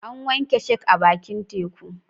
An wanke shark a bakin teku.